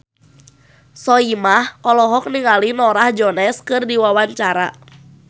Soimah olohok ningali Norah Jones keur diwawancara